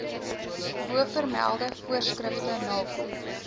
bovermelde voorskrifte nakom